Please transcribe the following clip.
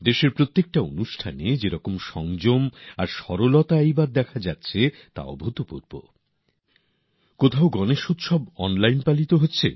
দেশে অনুষ্ঠিত প্রতিটি আয়োজনে যেরকম সংযম ও সহযোগিতা এবার দেখা যাচ্ছে তা সত্যিই অভূতপূর্ব গনেশোৎসবও অনলাইনে উদযাপিত হচ্ছে